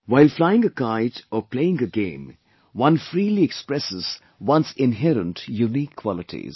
While flying a kite or playing a game, one freely expresses one's inherent unique qualities